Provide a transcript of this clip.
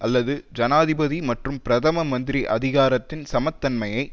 அல்லது ஜனாதிபதி மற்றும் பிரதம மந்திரி அதிகாரத்தின் சமத்தன்மையை